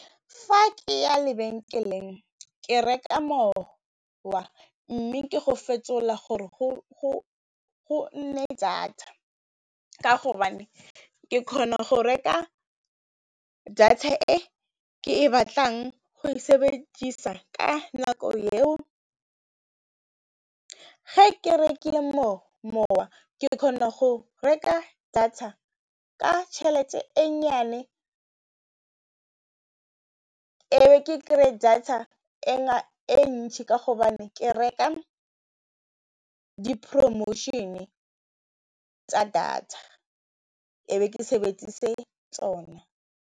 Fa ke ya lebenkeleng, ke reka mowa mme ke go fetola gore go nne data ka hobane ke kgona go reka data e ke e batlang go e sebedisa ka nako eo, ga ke rekile mowa ke re kgona go reka data ka tšhelete e nnyane e be ke kry-e data e ngata e ntšhi ka hobane ke reka di-promotion-e tsa data e be ke sebedise tsona.